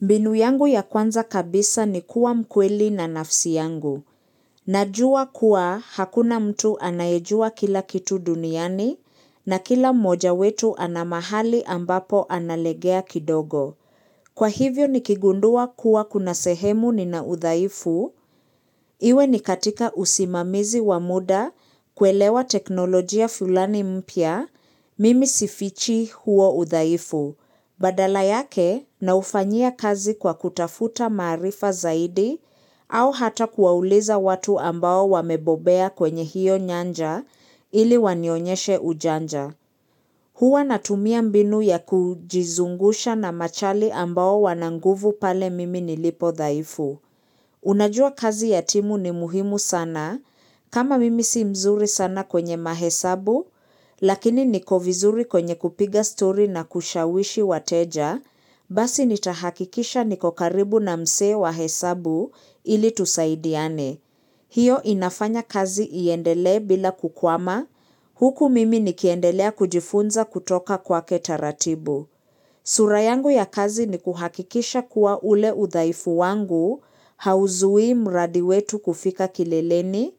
Mbinu yangu ya kwanza kabisa ni kuwa mkweli na nafsi yangu. Najua kuwa hakuna mtu anayejua kila kitu duniani na kila moja wetu anamahali ambapo analegea kidogo. Kwa hivyo nikigundua kuwa kuna sehemu ni na uthaifu, iwe ni katika usimamizi wa muda kuelewa teknolojia fulani mpya, mimi sifichi huo uthaifu. Badala yake naufanyia kazi kwa kutafuta maarifa zaidi au hata kuwauliza watu ambao wamebobea kwenye hiyo nyanja ili wanionyonyeshe ujanja. Huwa natumia mbinu ya kujizungusha na machali ambao wananguvu pale mimi nilipo dhaifu. Unajua kazi yatimu ni muhimu sana, kama mimi si mzuri sana kwenye mahesabu, lakini niko vizuri kwenye kupiga story na kushawishi wateja, basi nitahakikisha niko karibu na msee wa hesabu ili tusaidiane. Hiyo inafanya kazi iendele bila kukwama, huku mimi nikiendelea kujifunza kutoka kwake taratibu. Sura yangu ya kazi ni kuhakikisha kuwa ule udhaifu wangu, hauzui mradi wetu kufika kileleni,